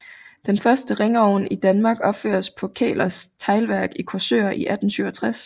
Den første ringovn i Danmark opføres på Kæhlers Teglværk i Korsør i 1867